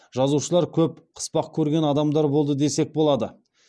жазушылар көп қыспақ көрген адамдар болды десек болады